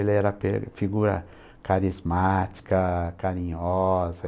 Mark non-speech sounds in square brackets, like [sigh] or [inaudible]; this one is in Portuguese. Ele era [unintelligible] figura carismática, carinhosa.